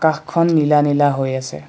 আকাশখন নীলা নীলা হৈ আছে।